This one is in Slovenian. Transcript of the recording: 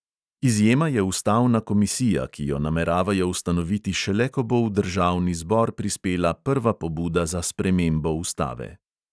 Izjema je ustavna komisija, ki jo nameravajo ustanoviti šele, ko bo v državni zbor prispela prva pobuda za spremembo ustave.